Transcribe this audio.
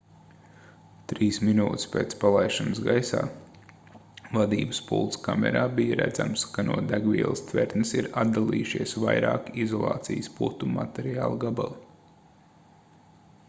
3 minūtes pēc palaišanas gaisā vadības pults kamerā bija redzams ka no degvielas tvertnes ir atdalījušies vairāki izolācijas putu materiāla gabali